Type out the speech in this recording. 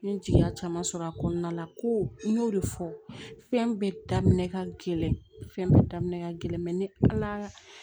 N ye jigiya caman sɔrɔ a kɔnɔna la ko n y'o de fɔ fɛn bɛɛ daminɛ ka gɛlɛn fɛn bɛɛ daminɛ ka gɛlɛn ne ala